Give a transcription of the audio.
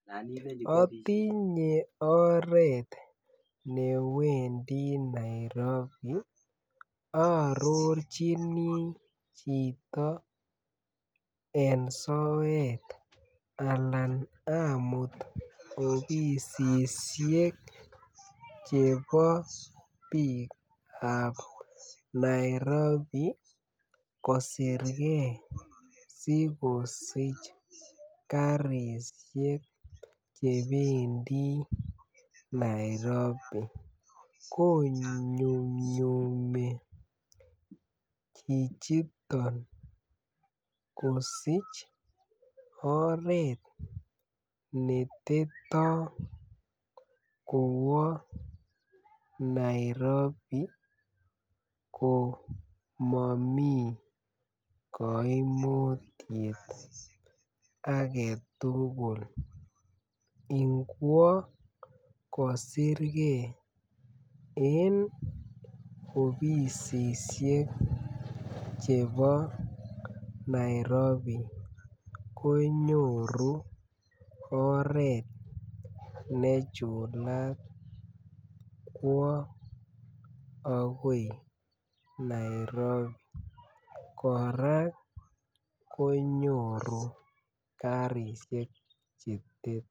Otinye oret newendi Nairobi oo orirjini chito en soet Alan amut obisisiek chebo biikab Nairobi kosirgee si kosich garishek che bendii Nairobi konyumnyumii chichiton kosich oret neteto kowoo Nairobi ko momii koimutiet agetugul. Ngwo kosirgee en obisisiek chebo Nairobi konyoru oret ne chulat kwo ogoi Nairobi koraa konyoru garishek che tet